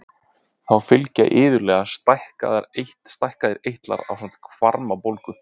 Þá fylgja iðulega stækkaðir eitlar ásamt hvarmabólgu.